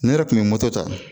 Ne yɛrɛ kun bɛ moto ta